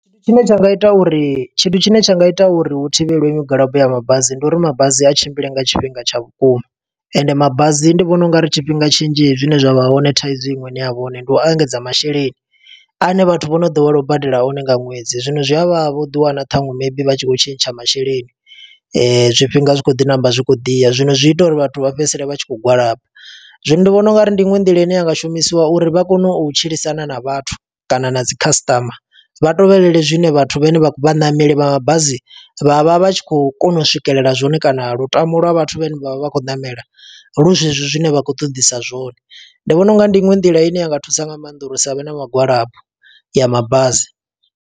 Tshine tsha nga ita uri, tshithu tshine tsha nga ita uri hu thivhelwe migwalabo ya mabasi. Ndi uri mabasi a tshimbile nga tshifhinga tsha vhukuma, ende mabasi ndi vhona ungari tshifhinga tshinzhi zwine zwa vha hoṋe thaidzo iṅwe ine ya vha hone. Ndi u engedza masheleni ane vhathu vho no ḓowela u badela one nga ṅwedzi. Zwino zwi a vhavha u ḓiwana ṱhaṅwe maybe vha tshi khou tshintsha masheleni. Zwifhinga zwi khou ḓi ṋamba zwi khou ḓi ya. Zwino zwi ita uri vhathu vha fhedzisele vha tshi khou gwalaba, zwino ndi vhona ungari ndi iṅwe nḓila ine yanga shumisiwa uri vha kone u tshilisana na vhathu kana na dzi khasiṱama. Vha tovhelele zwine vhathu vhe ne vha vhaṋameli vha mabasi, vha vha vha tshi khou kona u swikelela zwone. Kana lutamo lwa vhathu vhe ne vha vha vha khou ṋamela lu zwe zwi zwine vha khou ṱoḓisa zwone. Ndi vhona unga ndi iṅwe nḓila ine ya nga thusa nga maanḓa uri hu savhe na migwalabo ya mabasi.